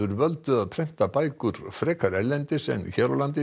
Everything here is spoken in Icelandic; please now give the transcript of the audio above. völdu að prenta bækur frekar erlendis en hér á landi